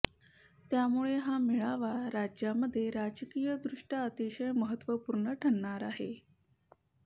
त्यामुळे हा मेळावा राज्यामध्ये राजकीयदृष्ट्या अतिशय महत्वपूर्ण ठरणार आहे